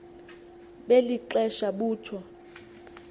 beli xesa butjho